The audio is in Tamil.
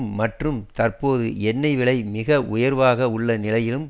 மற்றும் தற்போது எண்ணெய் விலை மிக உயர்வாக உள்ள நிலையிலும்